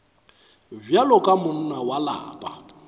bjalo ka monna wa lapa